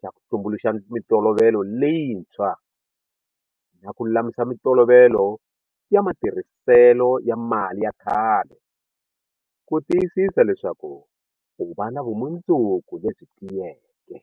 xa ku tumbu luxa mitolovelo leyintshwa na ku lulamisa mitolovelo ya matirhiselo ya mali ya khale ku tiyisisa leswaku u va na vumundzuku lebyi tiyeke.